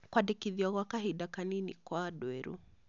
Kwandĩkithio gwa kahinda kanini kwa andũ erũ